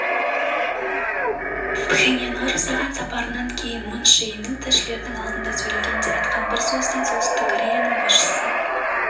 пхеньянға жасаған сапарынан кейін мун чже ин тілшілердің алдында сөйлегенде айтқан бір сөзінде солтүстік кореяның басшысы